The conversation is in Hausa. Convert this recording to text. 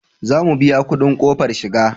Za mu biya kudin kofar shiga